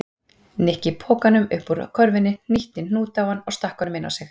Nikki pokanum upp úr körfunni, hnýtti hnút á hann og stakk honum inn á sig.